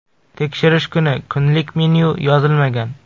Tekshirish kuni kunlik menyu yozilmagan.